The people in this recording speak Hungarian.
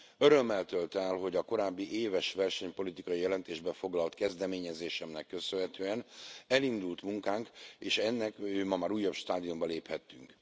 Örömmel tölt el, hogy a korábbi éves versenypolitikai jelentésbe foglalt kezdeményezésemnek köszönhetően elindult munkánk, és ennek ma már újabb stádiumába léphettünk.